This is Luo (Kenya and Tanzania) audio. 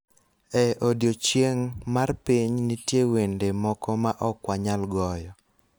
e odiechieng� mar piny nitie wende moko ma ok wanyal goyo,